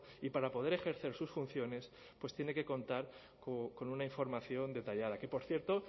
y para poder ejercer sus funciones pues tiene que contar con una información detallada que por cierto